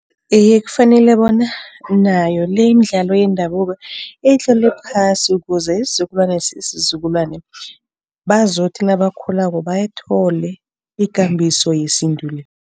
Iye, kufanele bona nayo le imidlalo yendabuka itlolwe phasi ukuze isizukulwane sesizukulwane bazokuthi nabakhulako bayithole ikambiso yesintu le.